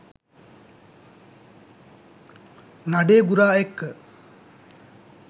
නඩේගුරා එක්ක